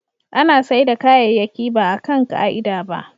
ana saida kayayyaki baa kan ka'ida ba